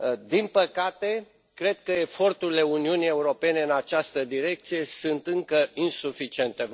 Din păcate, cred că eforturile Uniunii Europene în această direcție sunt încă insuficiente.